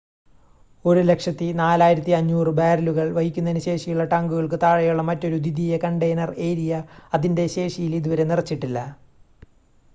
104,500 ബാരലുകൾ വഹിക്കുന്നതിന് ശേഷിയുള്ള ടാങ്കുകൾക്ക് താഴെയുള്ള മറ്റൊരു ദ്വിതീയ കണ്ടെയ്നർ ഏരിയ അതിൻ്റെ ശേഷിയിൽ ഇതുവരെ നിറച്ചിട്ടില്ല